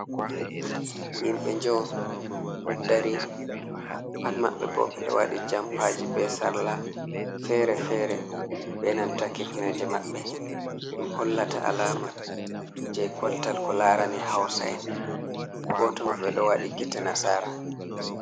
Himɓe jo do darii pat mabbe bo bedo wadi jompaji be sarla fere-fere, benanta kifneje maɓɓe dum hollata alama jei koltal ko larani hausa en goto mabɓe do wadi gite nasara.